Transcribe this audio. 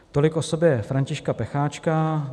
Tolik k osobě Františka Pecháčka.